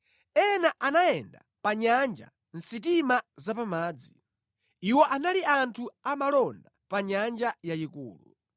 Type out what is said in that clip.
Ena anayenda pa nyanja mʼsitima zapamadzi; Iwo anali anthu amalonda pa nyanja yayikulu.